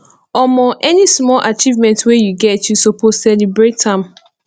omo any small achievement wey you get you suppose celebrate am